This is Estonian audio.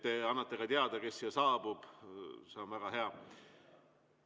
Te annate ka teada, kes siia saabub – see on väga hea.